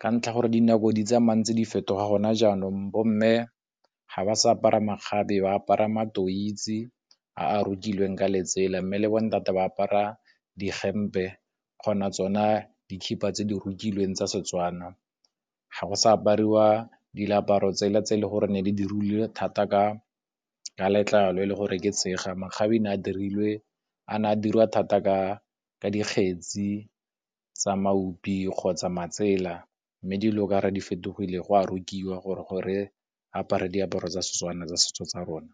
Ka ntlha gore dinako di tsamayang ntse di fetoga gona jaanong bomme ga ba sa apara makgabe ba apara matoise a a rokilweng ka letsela. Mme le bo ntate ba apara dihempe kgona tsona dikhipha tse di rokilweng tsa Setswana. Ga go sa apariwa diaparo tsela tse e le goreng ne di dirilwe thata ka letlalo e le gore ke tseega. Makgabe a ne a diriwa thata ka dikgetsi tsa mabupi kgotsa matsela. Mme dilo ka'ore di fetogile, go a rekiwa gore go re apare diaparo tsa Setswana tsa setso tsa rona.